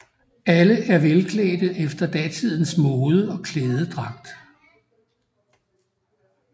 Alle er velklædte efter datidens mode og klædedragt